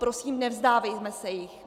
Prosím, nevzdávejme se jich.